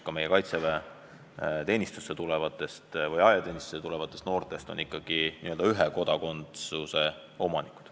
Enamik kaitseväeteenistusse tulevaid noori on ikkagi vaid Eesti kodanikud.